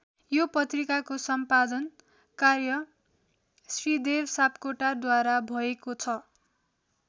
यो पत्रिकाको सम्पादन कार्य श्रीदेव सापकोटाद्वारा भएको छ।